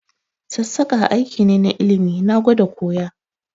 Sassaƙa aiki ne na ilimi, na gwada koya